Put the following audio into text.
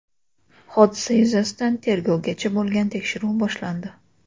Hodisa yuzasidan tergovgacha bo‘lgan tekshiruv boshlandi.